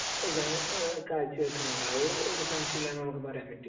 ഇതാണ് കാഴ്ചവയ്ക്കുന്നത്. അത് ഒരു സംശയവുമില്ലാതെ നമുക്ക് പറയാൻ പറ്റും.